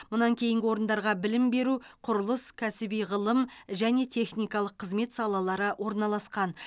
мұнан кейінгі орындарға білім беру құрылыс кәсіби ғылым және техникалық қызмет салалары орналасқан